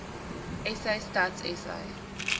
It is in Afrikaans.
sa stats sa